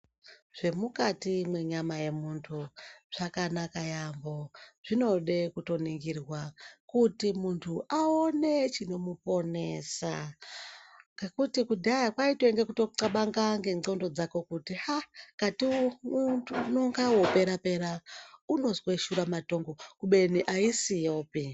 Zvemukati mwenyama yemuntu zvakanaka yaamho, zvinode kutoningira kuti muntu aone chinomuponesa. Ngekuti kudhaya kaitanga kutotxabanga ngendxondo dzake kuti aa katomuntu unonga vopera-pera unozwe shura matongo kubeni haisiyopi.